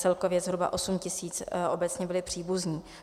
Celkově zhruba 8 tisíc obecně byli příbuzní.